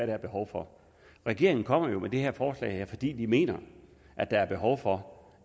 var behov for regeringen kommer jo med det her forslag fordi de mener at der er behov for